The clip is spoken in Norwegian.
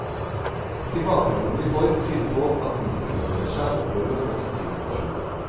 Tilbakemeldingene vi får tyder på, at de som henvender seg opplever å få nyttig informasjon.